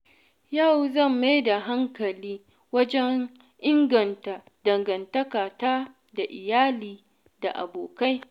Yau zan mai da hankali wajen inganta dangantakata da iyali da abokai.